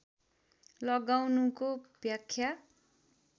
लगाउनुको व्याख्या